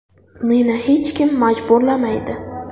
Meni hech kim majburlamaydi.